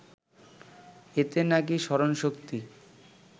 এতে নাকি স্মরণশক্তি